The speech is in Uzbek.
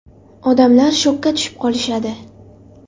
Odamlar shokka tushib qolishadi”.